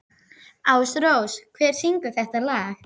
Ásrós, hver syngur þetta lag?